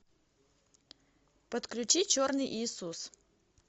подключи черный иисус